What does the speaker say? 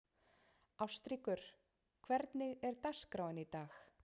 Ástríkur, hvernig er dagskráin í dag?